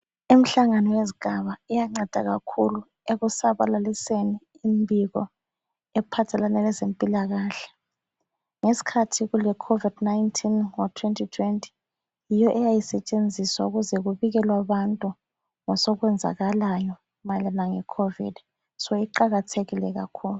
Imhlangano yezigaba iyanceda kakhulu ekusabalaliseni imbiko ephathelane lezempilakahle. Ngesikhathi kule COVID 19 ngo 2020 yiyo eyayisetshenziswa ukuze kubikelwe abantu ngosokwenzakalayo mayelana le Covid, so iqakathekile kakhulu.